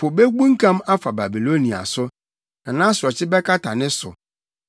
Po bebunkam afa Babilonia so; na nʼasorɔkye bɛkata ne so.